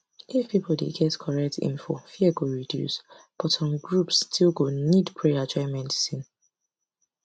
if people dey get correct info fear go reduce but some groups still go need prayer join medicine